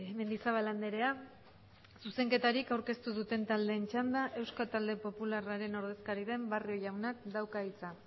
mendizabal andrea zuzenketarik aurkeztu duten taldeen txanda euskal talde popularraren ordezkari den barrio jaunak dauka hitza